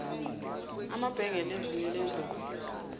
amabhengele ezinyo lendlovu